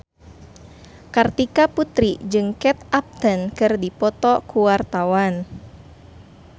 Kartika Putri jeung Kate Upton keur dipoto ku wartawan